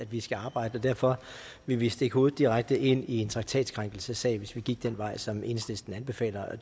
vi skal arbejde derfor ville vi stikke hovedet direkte ind i en traktatkrænkelsessag hvis vi gik den vej som enhedslisten anbefaler og